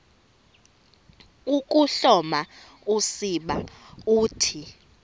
ukuhloma usiba uthi